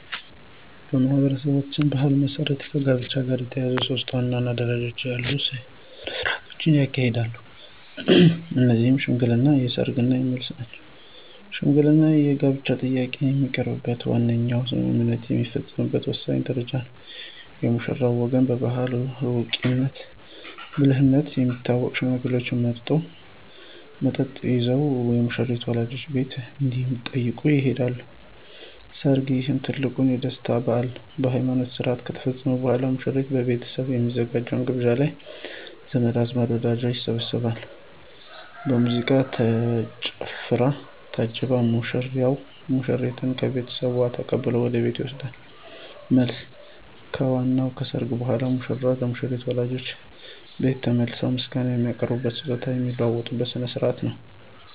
በማኅበረሰባችን ባሕል መሠረት ከጋብቻ ጋር የተያያዙ ሦስት ዋና ዋና ደረጃዎች ያሏቸው ሥነ ሥርዓቶች ይካሄዳሉ። እነዚህም ሽምግልና፣ ሰርግ እና መልስ ናቸው። ሽምግልና የጋብቻ ጥያቄ የሚቀርብበትና ዋነኛው ስምምነት የሚፈጸምበት ወሳኝ ደረጃ ነው። የሙሽራው ወገን በባሕላዊ አዋቂነትና ብልህነት የሚታወቁ ሽማግሌዎችን መርጦ፣ መጠጥ ይዘው የሙሽሪትን ወላጆች ቤት እንዲጠይቁ ይልካል። ሰርግ: ይህ ትልቁ የደስታ በዓል ነው። ሃይማኖታዊ ሥርዓት ከተፈጸመ በኋላ፣ የሙሽራው ቤተሰብ በሚያዘጋጀው ግብዣ ላይ ዘመድ አዝማድና ወዳጅ ይሰባሰባል። በሙዚቃና በጭፈራ ታጅቦ ሙሽራው ሙሽሪትን ከቤተሰቧ ተቀብሎ ወደ ቤቱ ይወስዳል። መልስ: ከዋናው ሰርግ በኋላ፣ ሙሽሮች ለሙሽሪት ወላጆች ቤት ተመልሰው ምስጋና የሚያቀርቡበትና ስጦታ የሚለዋወጡበት ሥነ ሥርዓት ነው።